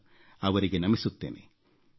ನಾನು ಅವರಿಗೆ ನಮಿಸುತ್ತೇನೆ